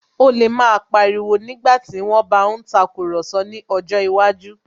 Ó lè máa pa ariwo nígbàtí wón bá ń tàkurọ̀sọ ní ọjọ́ iwájú